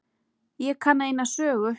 Ég kann eina sögu.